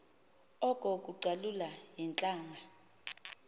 oko kucalula iintlanga